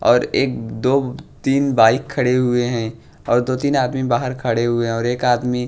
और एक दो तीन बाइक खड़े हुई हैं और दो तीन आदमी बाहर खड़े हुए हैं और एक आदमी--